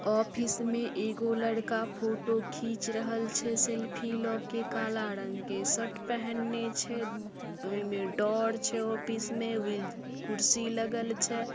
Office में एगो लड़का फोटो खीच रहल छै सेल्फी ल के काला रंग के शर्ट पहने छै ओय में डोर छै ऑफिस में विल कुर्सी लगल छै।